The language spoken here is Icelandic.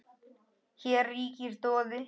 Hér ríkir doði.